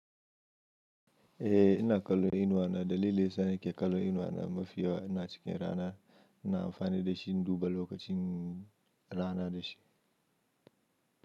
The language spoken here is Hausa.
Eh, ina kallon inuwa na dalilin da yasa nike kallon inuwa na mafi yawa ina cikin rana ina amfani da shi in duba lokacin rana da shi.